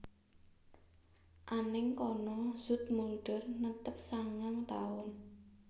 Anèng kana Zoetmulder netep sangang taun